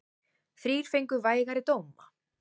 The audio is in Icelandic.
Þrír fengu vægari dóma.